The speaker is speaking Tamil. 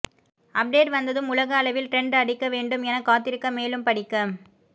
அப்டேட் வந்ததும் உலக அளவில் ட்ரெண்ட் அடிக்க வேண்டும் என காத்திருக்க மேலும் படிக்க